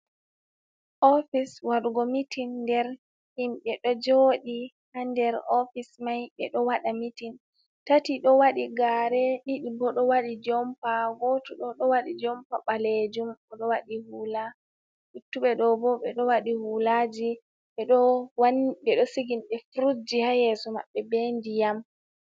Office waɗugo meeting. Nda himɓe ɗo joɗi ha nder office mai ɓe ɗo waɗa meeting. tati ɗo waɗi gare, ɗiɗi bo ɗo waɗi jompa, go to ɗo ɗowadi jompa ɓalejum oɗo waɗi hula, luttuɓe ɗo bo ɓe ɗo waɗi hulaji, ɓeɗo sigini ɓe frujji ha yeso maɓɓe be ndiyam.